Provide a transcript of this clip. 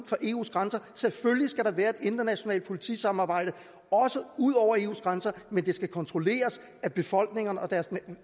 eus grænser selvfølgelig skal der være et internationalt politisamarbejde også ud over eus grænser men det skal kontrolleres af befolkningerne og deres